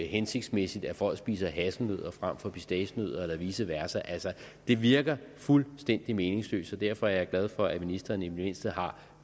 hensigtsmæssigt at folk spiser hasselnødder frem for pistacienødder eller vice versa altså det virker fuldstændig meningsløst så derfor er jeg glad for at ministeren i det mindste har